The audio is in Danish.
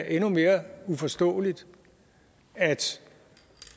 endnu mere uforståeligt at